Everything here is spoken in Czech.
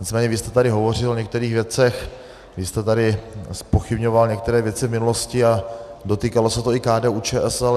Nicméně vy jste tady hovořil o některých věcech, vy jste tady zpochybňoval některé věci v minulosti a dotýkalo se to i KDU-ČSL.